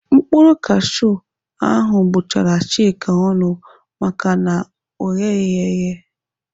Mkpụrụ kashiu ahụ gbụchara Chika ọnụ maka na ọ gheghị eghe.